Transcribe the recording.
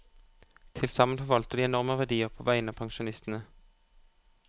Tilsammen forvalter de enorme verdier på vegne av pensjonistene.